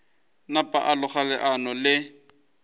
napa a loga leano le